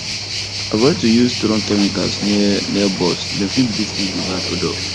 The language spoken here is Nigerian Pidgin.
avoid to use strong chemicals near near bords dem fit breath in the bad odour